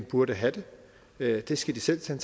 burde have det det skal de selv tage